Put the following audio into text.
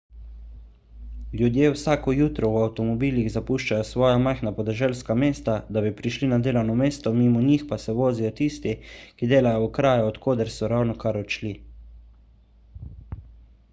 ljudje vsako jutro v avtomobilih zapuščajo svoja majhna podeželska mesta da bi prišli na delovno mesto mimo njih pa se vozijo tisti ki delajo v kraju od koder so ravnokar odšli